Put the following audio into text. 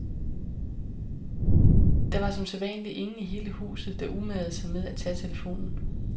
Der var som sædvanlig ingen i hele huset, der umagede sig med at tage telefonen.